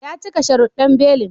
Ya cika sharuddan belin